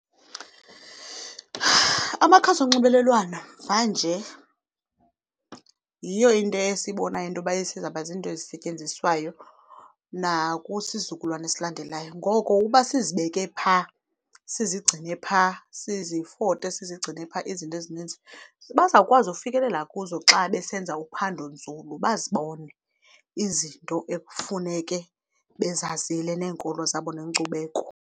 Amakhasi onxibelelwano mvanje yiyo into esibonayo into yoba esizawuba zinto ezisetyenziswayo nakwisizukulwana esilandelayo. Ngoko uba sizibeke phaa, sizigcine phaa, sizifote sizigcine phaa izinto ezininzi, bazawukwazi ukufikelela kuzo xa besenza uphandonzulu bazibone izinto ekufuneke bezazile neenkolo zabo neenkcubeko.